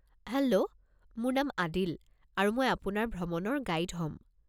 Hello, মোৰ নাম আদিল আৰু মই আপোনাৰ ভ্ৰমণৰ গাইড হ'ম।